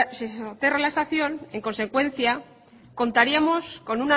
se soterra la estación en consecuencia contaríamos con